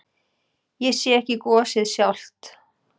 Ég sé ekki gosið sjálft.